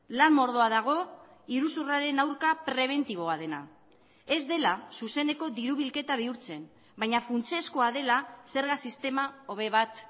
lan mordoa dago iruzurraren aurka prebentiboa dena ez dela zuzeneko diru bilketa bihurtzen baina funtsezkoa dela zerga sistema hobe bat